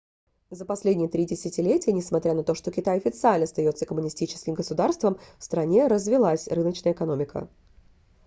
за последние три десятилетия несмотря на то что китай официально остается коммунистическим государством в стране развилась рыночная экономика